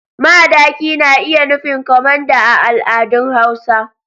Madaki na iya nufin kwamanda a al'adun hausa.